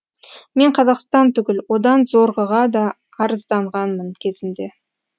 мен қазақстан түгіл одан зорғыға да арызданғанмын кезінде